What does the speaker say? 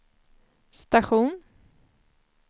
station